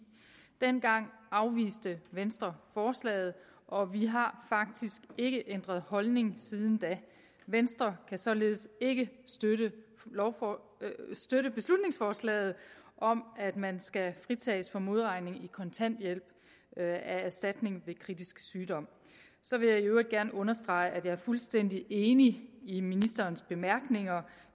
dengang afviste venstre forslaget og vi har faktisk ikke ændret holdning siden da venstre kan således ikke støtte støtte beslutningsforslaget om at man skal fritages for modregning i kontanthjælp af erstatning ved kritisk sygdom så vil jeg i øvrigt gerne understrege at jeg er fuldstændig enig i ministerens bemærkninger